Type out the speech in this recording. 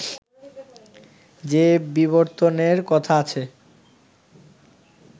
যে বিবর্তনের কথা আছে